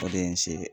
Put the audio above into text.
O de ye n se ye